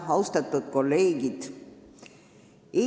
Austatud kolleegid!